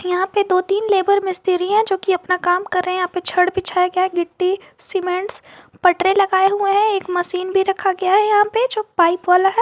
यहां पे दो तीन लेबर मिस्त्री है जोकि अपना काम कर रहे हैं यहां पे छड़ बिछाए गया है मिट्टी सीमेंट्स पटरी लगाए हुए हैं एक मशीन भी रखा गया है यहां पे जो पाइप वाला है।